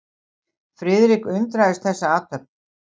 Friðrik undraðist þessa athöfn.